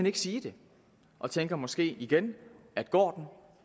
ikke sige det og tænker måske igen at går den